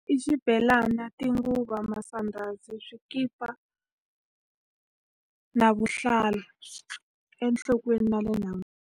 I xibelana, ti nguva, masandhazi, swikipa, na vuhlalu enhlokweni na le nhan'wini.